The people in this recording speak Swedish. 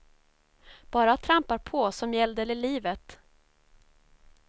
Bara trampar på som gällde det livet.